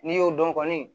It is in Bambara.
N'i y'o dɔn kɔni